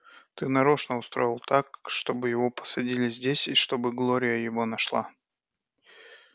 ты нарочно устроил так чтобы его посадили здесь и чтобы глория его нашла